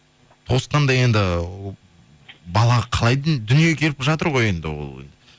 тосқанда енді бала қалай дүниеге келіп жатыр ғой енді ол